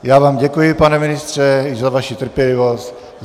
Já vám děkuji, pane ministře, i za vaši trpělivost.